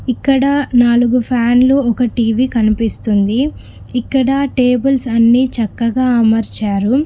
ఇక్కడ నాలుగు ఫ్యాన్లు ఒక టీవీ కనిపిస్తుంది ఇక్కడ టేబుల్స్ అన్ని చక్కగా అమర్చారు.